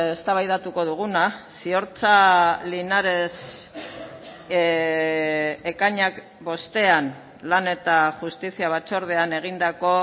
eztabaidatuko duguna ziortza linares ekainak bostean lan eta justizia batzordean egindako